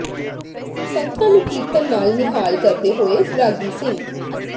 ਸੰਗਤਾਂ ਨੂੰ ਕੀਰਤਨ ਨਾਲ ਨਿਹਾਲ ਕਰਦੇ ਹੋਏ ਰਾਗੀ ਸਿੰਘ